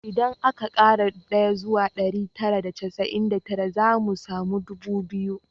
Idan aka kara ɗaya zuwa ɗari tara da casa’in da tara, za mu samu ɗubu biyu